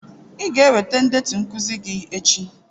Ị ga-eweta ndetu nkuzi gi echi.